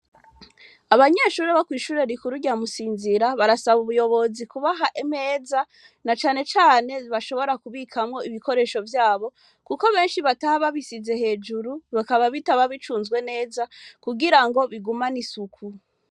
Abanyeshure bo kw'ishure rikuru rya Musinzira barasaba ubuyobozi kubaha imeza, na cane cane bashobora kubikamwo ibikoresho vyabo. Kuko benshi bataha babishize hejuru, bikaba bitaba bicunzwe neza kugira ngo bigumane isuku.